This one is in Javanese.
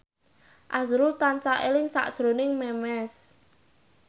azrul tansah eling sakjroning Memes